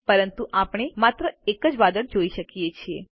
પરંતુ આપણે માત્ર એક વાદળ જોઈ શકીએ છીએ